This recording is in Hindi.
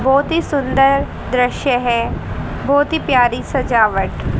बहुत ही सुंदर दृश्य है बहुत ही प्यारी सजावट।